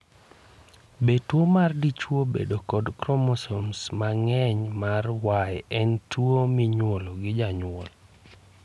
Be tuwo ma dichwo bedo kod kromosom mang'eny mar Y, en tuwo minyuolo gi jonyuol?